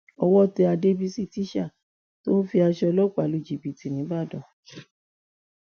owó tẹ àdèbísí tísà tó ń fi aṣọ ọlọpàá lu jìbìtì nìbàdàn